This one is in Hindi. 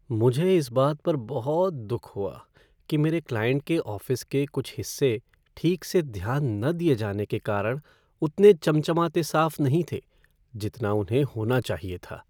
मुझे इस बात पर बहुत दुख हुआ कि मेरे क्लाइंट के ऑफ़िस के कुछ हिस्से ठीक से ध्यान न दिये जाने के कारण उतने चमचमाते साफ़ नहीं थे जितना उन्हें होना चाहिए था।